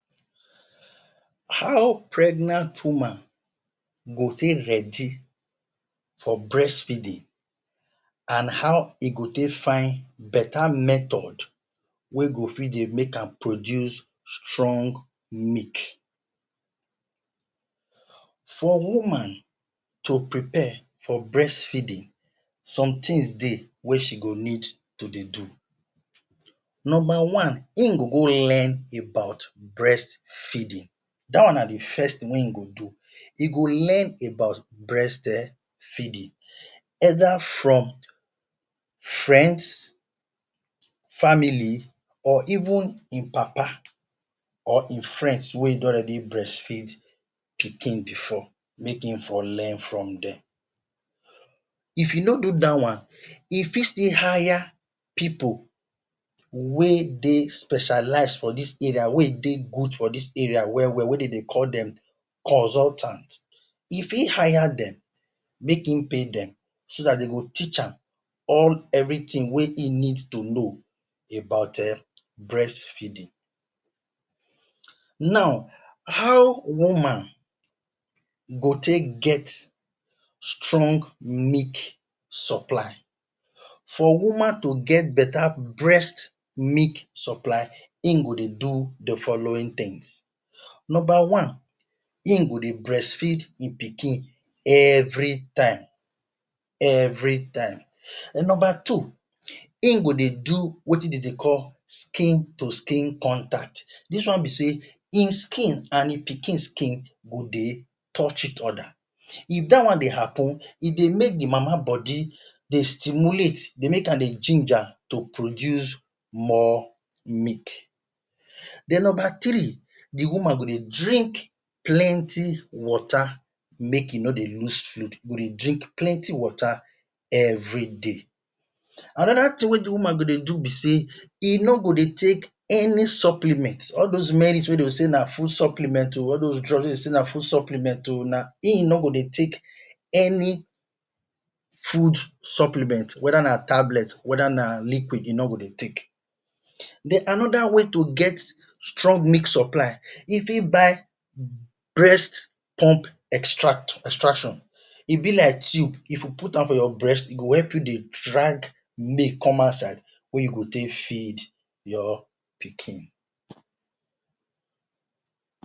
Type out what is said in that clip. How pregnant woman go take ready for breast feeding and how e go take find betta method wey go fit dey make am pr oduce strong milk. For woman to prepare for breastfeeding some tins dey wey she go need to dey do, number one im go go learn about breast feeding dat one na di first tin wen im go do. E go learn about breastfeeding either from friends, family, or even im papa or im friends wey don already breastfeed pikin bifor make im for learn from dem. If you no do dat one e fit still hire pipo wey dey specialise for dis area wey dey good for dis area wel wel wey dey dey call dem consultants. If im hire dem, make im pay dem, so dat dem go teach am all evritin wey dey need to do about eh breastfeeding. Now how woman go take get strong milk supply? For woman to get better breast milk supply, im go dey do di following tins. Number one im go dey breastfeed im pikin evritime evritime evritime. Number two, im go dey do wetin dem dey call skin to skin contact dis one be say im skin and di pikin skin go dey touch each oda, if dat one dey happun, e dey make di mama body stimulate, dey make am dey jinja to produce more milk. Den Number tirii, di woman go dey drink plenty water make im no dey miss food dey drink plenty water evri day. Anoda tin wey di woman go dey do be say, e no go dey take any supplements all dos medicines wey dey go say na supplements o all dos drugs wey dey go say na food supplements o, e no go dey take any food supplements weda na tablets weda na liquid e no go dey take. Den anoda way to get strong milk supply e fit buy breast pump extraction e bi like tiyub, if you put am for your breast e go help you dey drag milk come outside wey you take tey feed your pikin.